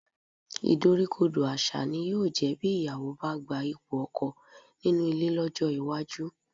Ìdoríkodò àṣà ni yóò jẹ́ bí ìyàwó bá gba ipò ọkọ nínú ilé lọ́jọ́ iwájú